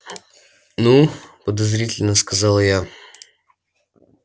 ну подозрительно сказала я